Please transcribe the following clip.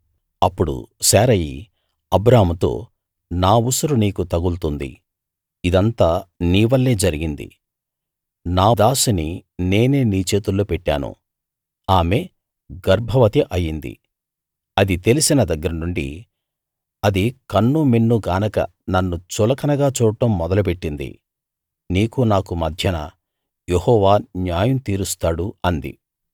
అప్పుడు శారయి అబ్రాముతో నా ఉసురు నీకు తగులుతుంది ఇదంతా నీ వల్లే జరిగింది నా దాసిని నేనే నీ చేతుల్లో పెట్టాను ఆమె గర్భవతి అయింది అది తెలిసిన దగ్గరనుండీ అది కన్నూమిన్నూ గానక నన్ను చులకనగా చూడటం మొదలు పెట్టింది నీకూ నాకూ మధ్యన యెహోవా న్యాయం తీరుస్తాడు అంది